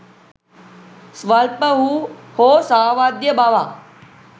ස්වල්ප වූ හෝ සාවද්‍ය බවක්